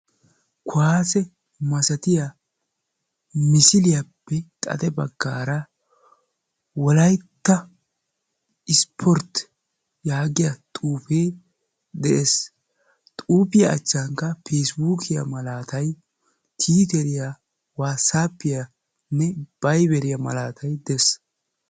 Kuasse masattiya misiliyaappe xade baggaara Wolaytta isportti yaagiyaa xuufe de'ees. xuufiya achchankka paasibookiya malaatay, tiwitteriya waassappiya biberiyaa malattay de'ees.